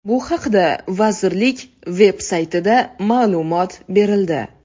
Bu haqda vazirlik veb-saytida ma’lumot berildi.